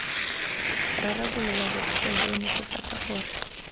rarabolola bothata jo netefatsa gore